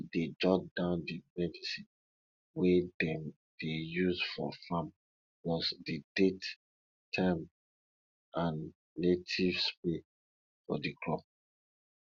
e dey jot down di medicine wey dem dey use for farm plus di date time an native spray for di crop